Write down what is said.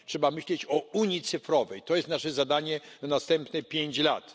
Trzeba myśleć o unii cyfrowej, to jest nasze zadanie na następnych pięć lat.